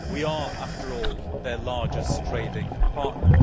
We are, after all, their largest trading partner.